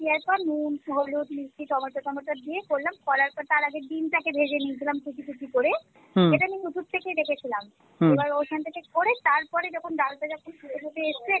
দেয়ার পর নূন হলুদ মিষ্টি টমেটো টমেটো দিয়ে করলাম করার পর তার আগে ডিমটাকে ভেজে নিয়েছিলাম কুচি কুচি করে এটা আমি Youtube থেকে দেখেছিলাম এবার ঐখান থেকে করে তারপরে যখন ডালটা যখন ফুটে ফুটে এসছে